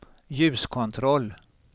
ljuskontroll